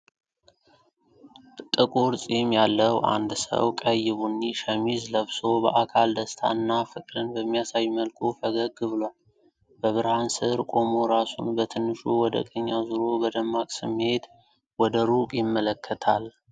ጠቁር ጺም ያለው አንድ ሰው ቀይ ቡኒ ሸሚዝ ለብሶ በአካል ደስታን እና ፍቅርን በሚያሳይ መልኩ ፈገግ ብሏል። በብርሃን ስር ቆሞ፣ ራሱን በትንሹ ወደ ቀኝ አዙሮ በደማቅ ስሜት ወደ ሩቅ ይመለከታል።